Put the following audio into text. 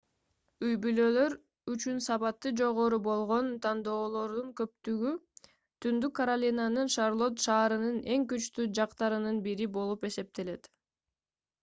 үй-бүлөлөр үчүн сапаты жогору болгон тандоолордун көптүгү түндүк каролинанын шарлотт шаарынын эң күчтүү жактарынын бири болуп эсептелет